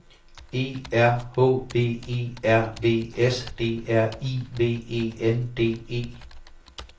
E R H V E R V S D R I V E N D E